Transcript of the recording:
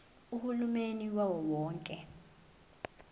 uhulumeni wawo wonke